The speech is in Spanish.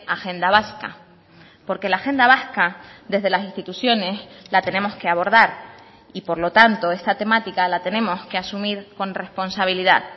agenda vasca porque la agenda vasca desde las instituciones la tenemos que abordar y por lo tanto esta temática la tenemos que asumir con responsabilidad